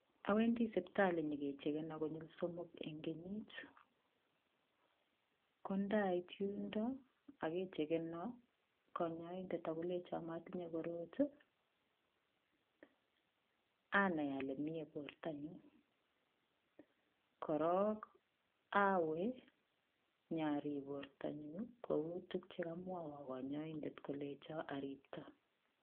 Awendi siptali nyogechegenon konyil somok eng kenyit. Kondait yundo ak kechegeno kanyaindet ak kolenjan matinye korot ii, anai ale mie bortanyun. Korok awe nyarib bortanyun kou tuk che kamwawo kanyaindet kolenja aripto.